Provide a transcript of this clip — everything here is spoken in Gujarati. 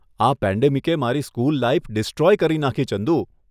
આ પેન્ડેમિકે મારી સ્કૂલ લાઈફ ડિસ્ટ્રોય કરી નાખી ચંદુ.